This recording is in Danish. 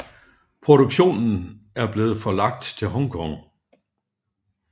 Produktionen er blevet forlagt til Hong Kong